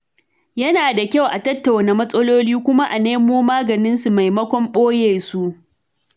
Yana da kyau a tattauna matsaloli kuma a nemo maganinsu maimakon ɓoye su.